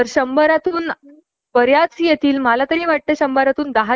काय माहिती आता ? हा रेशो जर लोकांनी काउन्ट केला